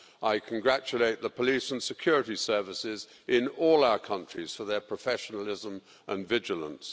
I congratulate the police and security services in all our countries for their professionalism and vigilance.